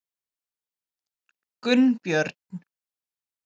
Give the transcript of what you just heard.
Gunnbjörn